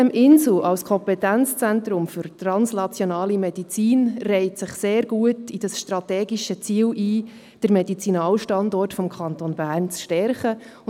Als Kompetenzzentrum für translationale Medizin reiht sich die sitem-insel sehr gut in das strategische Ziel ein, den Medizinalstandort des Kantons Bern zu stärken.